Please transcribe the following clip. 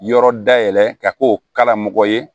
Yɔrɔ dayɛlɛ ka k'o kalamɔgɔ ye